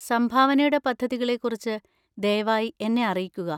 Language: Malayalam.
സംഭാവനയുടെ പദ്ധതികളെക്കുറിച്ച് ദയവായി എന്നെ അറിയിക്കുക.